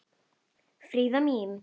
Fríða mín.